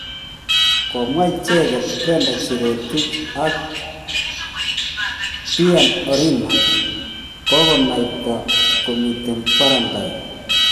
komwa icheget Brenda Cherotich na Biian Orinda kogonaitai komiten guarantine.